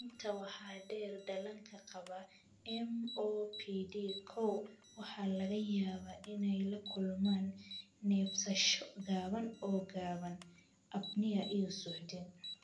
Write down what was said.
Intaa waxaa dheer, dhallaanka qaba MOPD koow waxaa laga yaabaa inay la kulmaan neefsasho gaaban oo gaaban (apnea) iyo suuxdin.